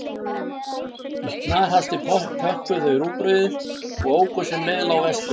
Í snarhasti pökkuðu þau í rúgbrauðið og óku sem leið lá vestur.